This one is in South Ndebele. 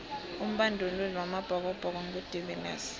umbanduli wamabhokobhoko ngu de viliers